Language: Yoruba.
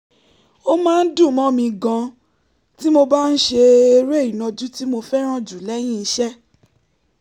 ó máa ń dùn mọ́ mi gan-an tí mo bá ń ṣe eré ìnàjú tí mo fẹ́ràn jù lẹ́yìn iṣẹ́